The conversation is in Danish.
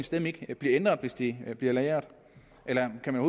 stemme ikke bliver ændret hvis det bliver lagret eller kan man